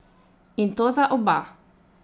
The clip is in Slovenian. In to za oba!